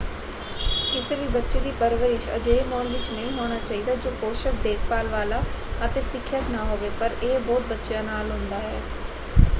ਕਿਸੇ ਵੀ ਬੱਚੇ ਦੀ ਪਰਵਰਿਸ਼ ਅਜਿਹੇ ਮਾਹੌਲ ਵਿੱਚ ਨਹੀਂ ਹੋਣਾ ਚਾਹੀਦਾ ਜੋ ਪੋਸ਼ਕ ਦੇਖਭਾਲ ਵਾਲਾ ਅਤੇ ਸਿੱਖਿਅਕ ਨਾ ਹੋਵੇ ਪਰ ਇਹ ਬਹੁਤ ਬੱਚਿਆਂ ਨਾਲ ਹੁੰਦਾ ਹੈ।